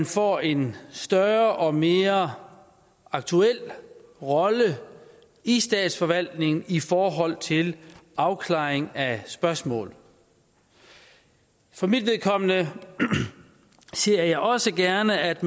få en større og mere aktuel rolle i statsforvaltningen i forhold til afklaring af spørgsmål for mit vedkommende ser jeg også gerne at